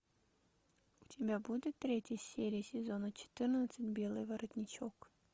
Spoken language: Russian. у тебя будет третья серия сезона четырнадцать белый воротничок